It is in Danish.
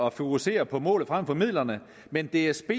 at fokusere på målet frem for midlerne men dsb